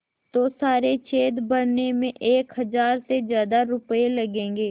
तो सारे छेद भरने में एक हज़ार से ज़्यादा रुपये लगेंगे